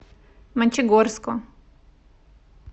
мончегорску